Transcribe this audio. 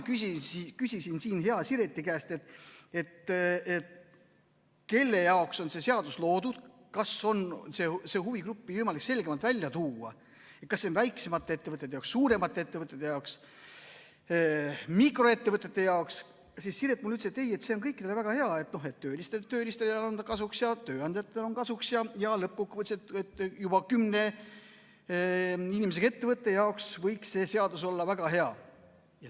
Kui ma küsisin hea Sireti käest, kelle jaoks on see seadus loodud, kas on võimalik huvigruppi selgemalt välja tuua, kas see on väiksemate ettevõtete jaoks, suuremate ettevõtete jaoks, mikroettevõtete jaoks, siis Siret mulle ütles, et ei, see on kõikidele väga hea, et töölistele on ta kasuks ja tööandjatele on kasuks ja lõppkokkuvõttes juba kümne inimesega ettevõtte jaoks võiks see seadus olla väga hea.